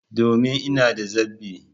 Domin! Ina da zabi